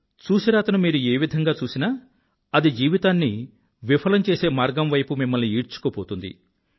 చూసిరాతను మీరు ఏ విధంగా చూసినా అది జీవితాన్ని విఫలం చేసే మార్గం వైపు మిమ్మల్ని ఈడ్చుకుపోతుంది